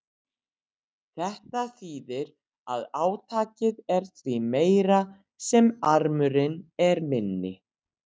Þetta þýðir að átakið er því meira sem armurinn er minni.